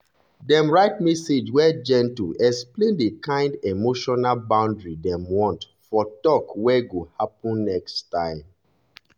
dem write message wey gentle explain the kind emotional boundary dem want for talk wey go happen next time.